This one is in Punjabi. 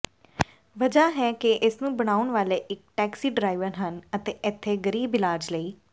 ਵਜ੍ਹਾ ਹੈ ਕਿ ਇਸਨੂੰ ਬਣਾਉਣ ਵਾਲੇ ਇੱਕ ਟੈਕਸੀ ਡਰਾਇਵਰ ਹਨ ਅਤੇ ਇੱਥੇ ਗਰੀਬ ਇਲਾਜ ਲਈ